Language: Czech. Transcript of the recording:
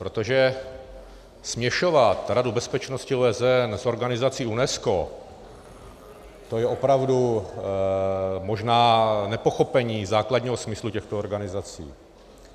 Protože směšovat Radu bezpečnosti OSN s organizací UNESCO, to je opravdu možná nepochopení základního smyslu těchto organizací.